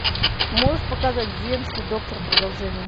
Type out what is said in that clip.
можешь показать земский доктор продолжение